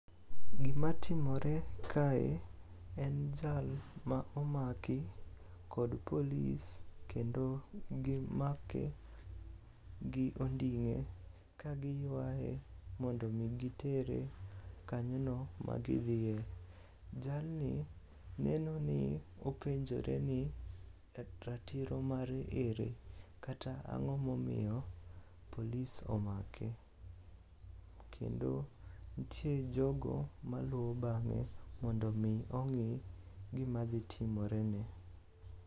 Gimatimore kae en jal ma omaki kod polis kendo gimake gi onding'e ka giywaye mondo omi gitere kanyono magidhiye. Jalni openjore ni ratiro mare ere kata ang'o momiyo polis omake. Kendo ntie jogo maluwo bang'e mondo omi ong'i gima dhi timorene.